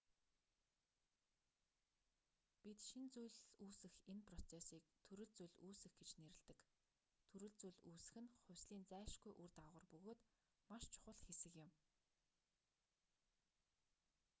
бид шинэ зүйл үүсэх энэ процессыг төрөл зүйл үүсэх гэж нэрлэдэг төрөл зүйл үүсэх нь хувьслын зайлшгүй үр дагавар бөгөөд маш чухал хэсэг юм